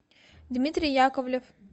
дмитрий яковлев